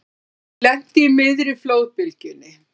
Lenti í miðri flóðbylgjunni